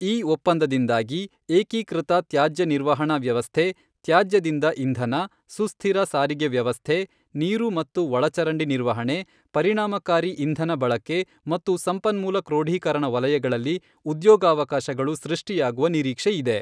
ಈ ಒಪ್ಪಂದದಿಂದಾಗಿ ಏಕೀಕೃತ ತ್ಯಾಜ್ಯ ನಿರ್ವಹಣಾ ವ್ಯವಸ್ಥೆ, ತ್ಯಾಜ್ಯದಿಂದ ಇಂಧನ, ಸುಸ್ಥಿರ ಸಾರಿಗೆ ವ್ಯವಸ್ಥೆ, ನೀರು ಮತ್ತು ಒಳಚರಂಡಿ ನಿರ್ವಹಣೆ, ಪರಿಣಾಮಕಾರಿ ಇಂಧನ ಬಳಕೆ ಮತ್ತು ಸಂಪನ್ಮೂಲ ಕ್ರೋಢೀಕರಣ ವಲಯಗಳಲ್ಲಿ ಉದ್ಯೋಗಾವಕಾಶಗಳು ಸೃಷ್ಟಿಯಾಗುವ ನಿರೀಕ್ಷೆ ಇದೆ.